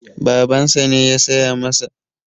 Babansa ne ya saya masa.